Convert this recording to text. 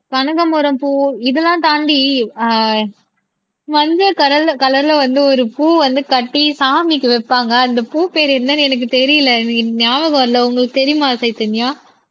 கனகமரம் பூ இதெல்லாம் தாண்டி ஆஹ் மஞ்சள் கலர்ல கலர்ல வந்து ஒரு பூ வந்து கட்டி சாமிக்கு வைப்பாங்க அந்த பூப்பேரு என்னன்னு எனக்கு தெரியலே எனக்கு ஞாபகம் இல்லை உங்களுக்கு தெரியுமா சைதன்யா